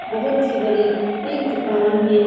बहुत ही बड़ी एक दुकान है।